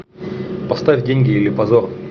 поставь деньги или позор